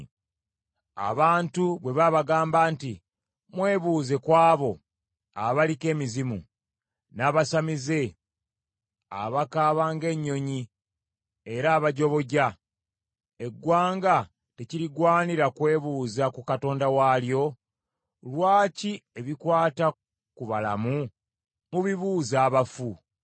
Abantu bwe babagamba nti mwebuuze ku abo abaliko emizimu, n’abasamize abakaaba ng’ennyonyi era abajoboja, eggwanga tekirigwanira kwebuuza ku Katonda waalyo? Lwaki ebikwata ku balamu mubibuuza abafu?